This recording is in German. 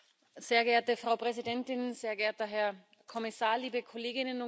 Frau Präsidentin, sehr geehrter Herr Kommissar, liebe Kolleginnen und Kollegen!